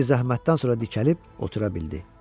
Xeyli zəhmətdən sonra dikəlib otura bildi.